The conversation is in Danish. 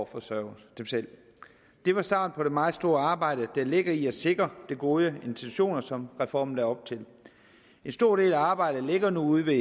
forsørge sig selv det var starten på det meget store arbejde der ligger i at sikre de gode intentioner som reformen lagde op til en stor del af arbejdet ligger nu ude